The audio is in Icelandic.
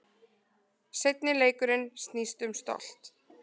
Seinni leikurinn snýst um stolt